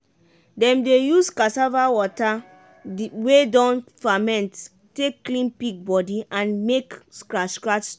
dem dey use use cassava water wey don ferment take clean pig body and make scratch scratch stop.